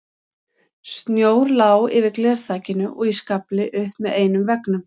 Snjór lá yfir glerþakinu og í skafli upp með einum veggnum.